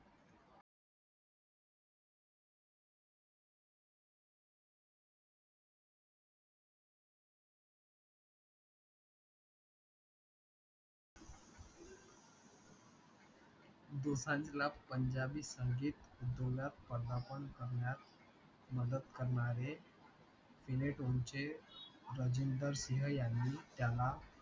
दोसांजला पंजाबी संगीत पदार्पण करण्यास मदत करनारे Finetone चे राजिंदर सिंग यांनी त्याला